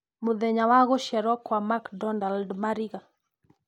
mũthenya wa gũciarwo kwa macdonald mariga